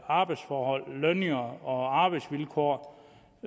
arbejdsforhold lønninger og arbejdsvilkår